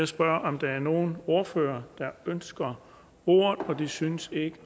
spørge om der er nogle ordførere der ønsker ordet det synes ikke